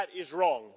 That is wrong.